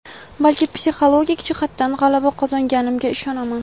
balki psixologik jihatdan g‘alaba qozonganimga ishonaman.